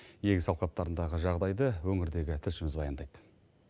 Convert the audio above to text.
егіс алқаптарындағы жағдайды өңірдегі тілшіміз баяндайды